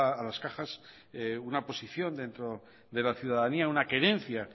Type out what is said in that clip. a las cajas una posición dentro de la ciudadanía una querencia